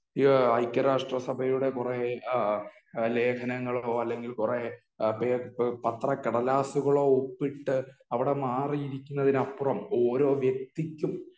ഐക്യരാഷ്ട്രസഭയുടെ പുറകെ ലേഖനങ്ങളോ അല്ലെങ്കിൽ കുറെ പത്ര കടലാസുകളോ ഒപ്പിട്ട് അവിടെ മാറിയിരിക്കുന്നതിനപ്പുറം ഓരോ വ്യക്തിക്കും